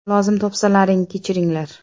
Lozim topsalaring, kechiringlar.